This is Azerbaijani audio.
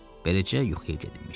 Beləcə yuxuya getmiş.